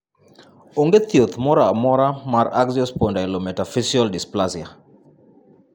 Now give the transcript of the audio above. Onge thieth moro amora mar axial spondylometaphyseal dysplasia.